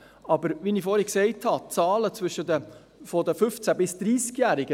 Wie ich vorhin gesagt habe – die Zahlen der 15- bis 30-Jährigen.